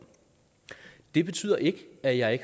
det betyder ikke at jeg